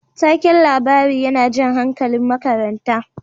Taken labari yana jan hankalin makaranta.